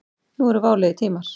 Nú eru válegir tímar.